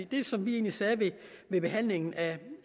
det som vi sagde ved behandlingen